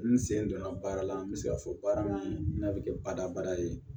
N sen donna baara la n be se ka fɔ baara min n'a be kɛ badabada ye